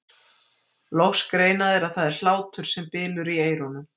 Loks greina þeir að það er hlátur sem bylur í eyrunum.